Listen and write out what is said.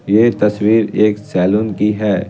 ये तस्वीर एक सैलून की है।